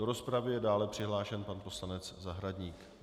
Do rozpravy je dále přihlášen pan poslanec Zahradník.